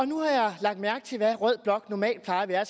nu har jeg lagt mærke til hvad rød blok normalt plejer at være